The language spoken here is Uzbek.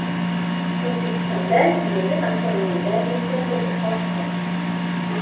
O‘zbekistonda yengil avtomobillar importi oshdi.